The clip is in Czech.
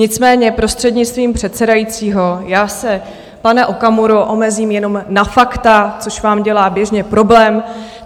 Nicméně prostřednictvím předsedajícího já se, pane Okamuro, omezím jenom na fakta, což vám dělá běžně problém.